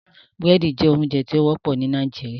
Búrẹ́dì jẹ ounjẹ ti o wọpọ ni Nigeria